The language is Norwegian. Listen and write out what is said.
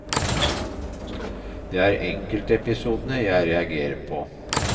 Det er enkeltepisodene jeg reagerer på.